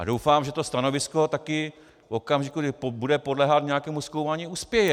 A doufám, že to stanovisko taky v okamžiku, kdy bude podléhat nějakému zkoumání, uspěje.